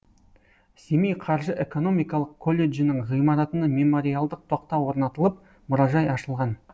семей қаржы экономикалық колледжінің ғимаратына мемориалдық тақта орнатылып мұражай ашылған